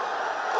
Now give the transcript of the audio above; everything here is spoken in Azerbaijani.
Qol!